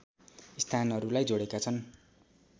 स्थानहरूलाई जोडेका छन्